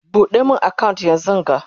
ɓuɗe min account yanzunga!